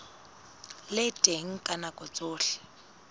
le teng ka nako tsohle